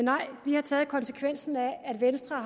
venstre